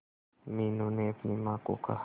मीनू ने अपनी मां को कहा